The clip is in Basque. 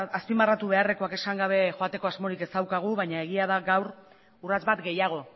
azpimarratu beharrekoak esan gabe joateko asmorik ez daukagu baina egia da gaur urrats bat gehiago